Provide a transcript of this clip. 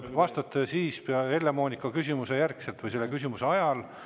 Vastate Helle-Moonika küsimuse järgselt, kui jäi meelde Heljo Pikhofi küsimus.